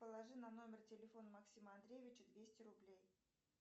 положи на номер телефона максима андреевича двести рублей